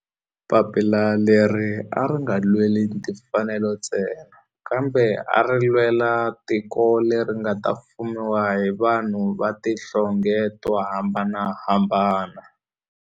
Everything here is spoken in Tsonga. Papila leri a ri nga lweli timfanelo ntsena kambe ari lwela tiko leri nga ta fumiwa hi vanhu va tihlonge to hambanahambana.